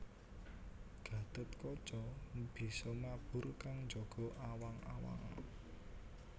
Gatotkaca bisa mabur kang njaga awang awang